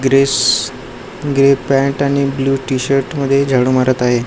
Chris grey pant आणि blue T shirt मध्ये झाडू मारत आहे.